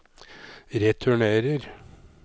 returnerer